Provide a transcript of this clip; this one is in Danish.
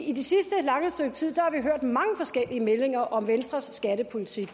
i det sidste lange stykke tid har vi hørt mange forskellige meldinger om venstres skattepolitik